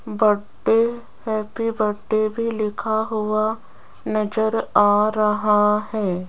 बड्डे happy birthday भी लिखा हुआ नज़र आ रहा है।